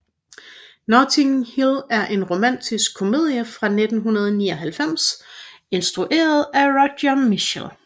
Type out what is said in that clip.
Notting Hill er en romantisk komedie fra 1999 instrueret af Roger Michell